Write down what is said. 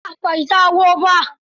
A'a bai dawo ba.